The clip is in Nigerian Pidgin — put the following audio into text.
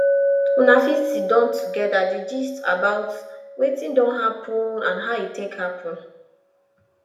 una fit sidon together dey gist about wetin don happen and how e take happen